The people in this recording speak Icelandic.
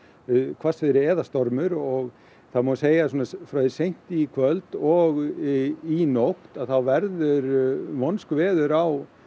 hvassviðri eða stormur og það má segja að frá því seint í kvöld og í nótt þá verður vonskuveður á